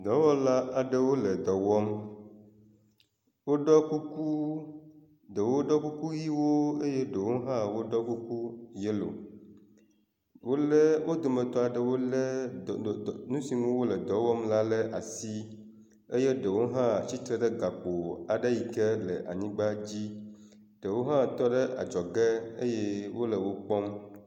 Dɔwɔla aɖewo le dɔ wɔm, woɖɔ kuku, ɖewo ɖɔ kuku ʋɛ̃wo eye ɖewo hã woɖɔ kuku yelo. Wolé wo dometɔ aɖewo lé dɔ dɔ nu si ŋu wole dɔ wɔm la le asi eye ɖewo hã tsitre gakpo aɖe yi ke le anyigba la dzi, ɖewo hã tɔ ɖe adzɔge eye wole wo kpɔm.